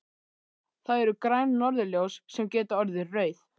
Það eru græn norðurljós sem geta orðið rauð.